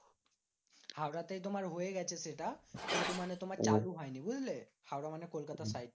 হাওড়া তে তোমার হয়ে গেছে সেটা কিন্তু মানে তোমার চালু হয়নি, বুঝলে? হাওড়া মানে কলকাতার side টা তে।